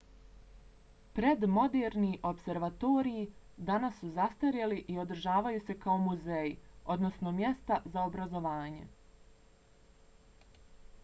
predmoderni opservatoriji danas su zastarjeli i održavaju se kao muzeji odnosno mjesta za obrazovanje